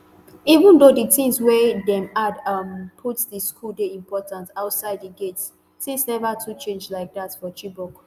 even though di tins wey dem add um put di school dey important outside di gates tins neva too change like dat for chibok